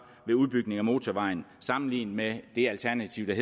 ved udbygning af motorvejen sammenlignet med det alternativ